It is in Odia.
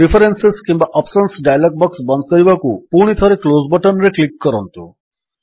ପ୍ରିଫରେନ୍ସେସ୍ କିମ୍ୱା ଅପ୍ସନ୍ସ ଡାୟଲଗ୍ ବକ୍ସ ବନ୍ଦ କରିବାକୁ ପୁଣିଥରେ କ୍ଲୋଜ୍ ବଟନ୍ ରେ କ୍ଲିକ୍ କରନ୍ତୁ